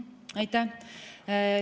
Aitäh!